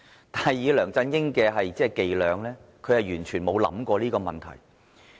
但是，以梁振英的伎倆，他完全沒有想過這個問題。